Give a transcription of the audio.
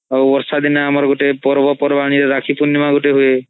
ଆଉ ବର୍ଷା ଦିନ ଆମର୍ ଗୋଟେ ପର୍ବପର୍ବାଣୀ ରେ ରାଖୀ ପୁରନିମା ହୁଏ